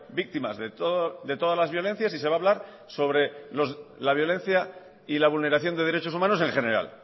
víctimas de todas las violencias y se va a hablar sobre la violencia y la vulneración de derechos humanos en general